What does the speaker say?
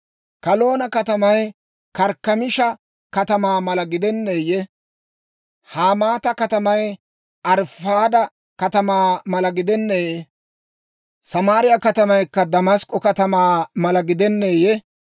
Kalnno katamay Karkkamiisha katamaa mala gidenneeyye? Hamaata katamay Arifaada katamaa mala gidenneeyye? Samaariyaa katamaykka Damask'k'o katamaa mala gidenneeyye?